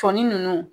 Sɔni ninnu